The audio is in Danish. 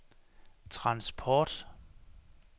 transport